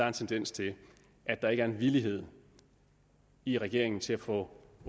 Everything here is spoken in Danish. en tendens til at der ikke er en villighed i regeringen til at få